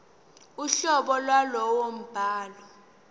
uhlobo lwalowo mbhalo